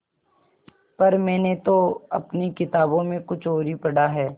पर मैंने तो अपनी किताबों में कुछ और ही पढ़ा है